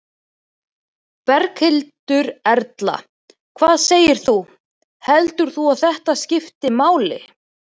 Berghildur Erla: Hvað segir þú, heldur þú að þetta skipti máli?